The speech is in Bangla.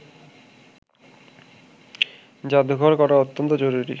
জাদুঘর করা অত্যন্ত জরুরি